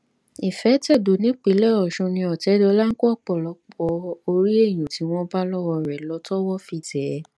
ìfẹtẹdọ nípìnlẹ ọsùn ni ọtẹdọlà ń kó ọpọlọpọ orí èèyàn tí wọn bá lọwọ rẹ lọ tọwọ fi tẹ ẹ